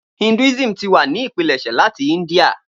Hinduism ti wa ni ipilẹṣẹ lati India.